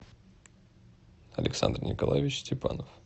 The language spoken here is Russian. александр николаевич степанов